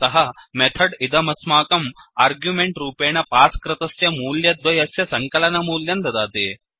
अतः मेथड् इदमस्माकं अर्ग्यूमेण्ट् रूपॆण पास् कृतस्य मूल्यद्वयस्य सङ्कलनमूल्यं ददाति